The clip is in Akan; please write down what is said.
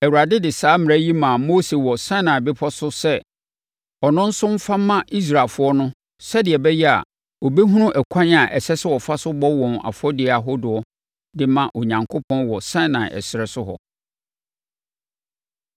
Awurade de saa mmara yi maa Mose wɔ Sinai Bepɔ so sɛ ɔno nso mfa mma Israelfoɔ no sɛdeɛ ɛbɛyɛ a, wɔbɛhunu ɛkwan a ɛsɛ sɛ wɔfa so bɔ wɔn afɔdeɛ ahodoɔ no de ma Onyankopɔn wɔ Sinai ɛserɛ so hɔ.